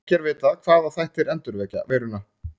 Ekki er vitað hvaða þættir endurvekja veiruna.